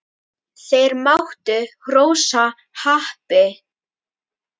Þeir máttu hrósa happi.